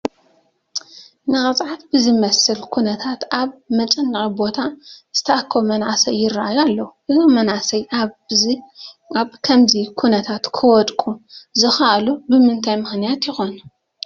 ንቅፅዓት ብዝመስል ኩነታት ኣብ መጨነቒ ቦታ ዝተኣከቡ መናእሰይ ይርአዩ ኣለዉ፡፡ እዞም መናእሰይ ኣብ ከምዚ ኩነታት ክወድቁ ዝኸኣሉ ብምንታይ ምኽንያት ይኾን?